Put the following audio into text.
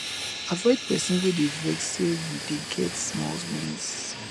avoid pesin wey dey vex sey you dey get small wins